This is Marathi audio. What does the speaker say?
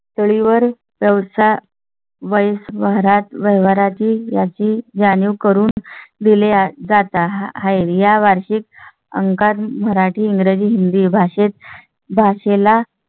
पातळीवर व्यवसाय वैस भरात व्यवहारांची याची जाणीव करून दिली जात आहे. या वार्षिक अंका मराठी, इंग्रजी, हिंदी भाषेत भाषेला.